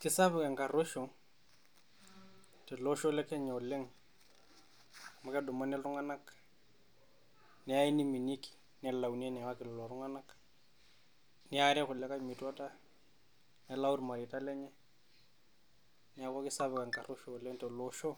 kesapuk enkaruoisho tele osho le Kenya oleng' amu kedumuni iltung'anak neyai niminieki, nelauni eneyawaki lelo tung'anak, neari kulikai metuata nelau irmareita lenye, neeku kesapuk enkaruesho oleng' tele osho